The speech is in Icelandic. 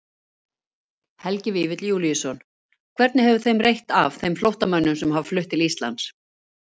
Helgi Vífill Júlíusson: Hvernig hefur þeim reitt af, þeim flóttamönnum sem hafa flutt til Íslands?